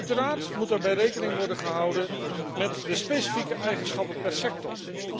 Uiteraard moet daarbij rekening worden gehouden met de specifieke eigenschappen per sector.